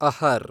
ಅಹರ್